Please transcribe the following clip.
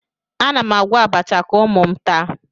Ana m agwọ abacha ka ụmụ m taa